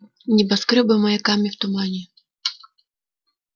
небоскрёбы маяками в тумане